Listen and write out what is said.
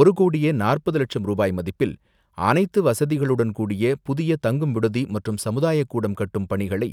ஒருகோடியே நாற்பது லட்சம் ரூபாய் மதிப்பில் அனைத்து வசதிகளுடன் கூடிய புதிய தங்கும் விடுதி மற்றும் சமுதாயக்கூடம் கட்டும் பணிகளை